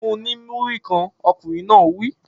Fun-un ní Múrí-kan! Ọkùnrin náà wí.